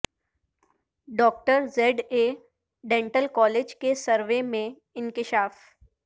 doctor Z A dental college کے survey میں انکشاف